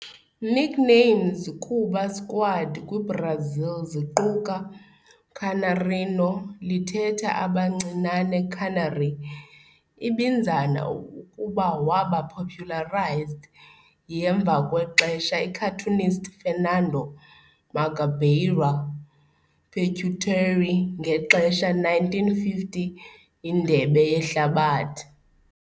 Nicknames kuba squad kwi-Brazil ziquka "Canarinho", lithetha "Abancinane Canary", ibinzana ukuba waba popularized yi-emva kwexesha cartoonist Fernando "Mangabeira" Pieruccetti ngexesha 1950 Indebe Yehlabathi.